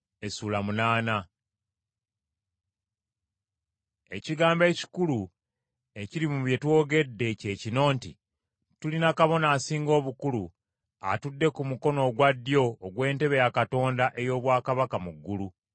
Ekigambo ekikulu ekiri mu bye twogedde kye kino nti, Tulina Kabona Asinga Obukulu, atudde ku mukono ogwa ddyo, ogw’entebe ya Katonda ey’obwakabaka mu ggulu,